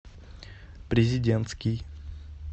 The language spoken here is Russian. президентский